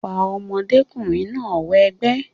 fa ọmọdékùnrin náà wẹgbẹ́